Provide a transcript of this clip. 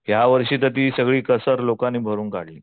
यावर्षी तर ती सगळी कसर त्या लोकांनी भरून काढली.